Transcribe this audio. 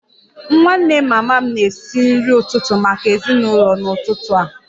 Nwanne mama m na-esi nri ụtụtụ maka ezinụlọ n'ụtụtụ a